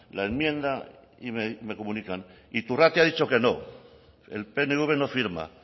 la enmienda y me comunica iturrate ha dicho que no el pnv no firma